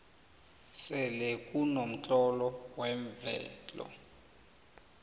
selekunomtlolo wemvelo